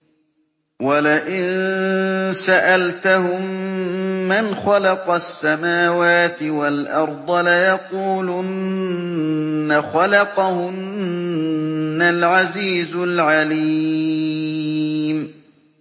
وَلَئِن سَأَلْتَهُم مَّنْ خَلَقَ السَّمَاوَاتِ وَالْأَرْضَ لَيَقُولُنَّ خَلَقَهُنَّ الْعَزِيزُ الْعَلِيمُ